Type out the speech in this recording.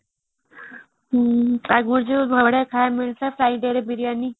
ଆଗରୁ ଯୋଉ ଖାଇବାକୁ ମିଳୁଥିଲା fridayରେ biriyani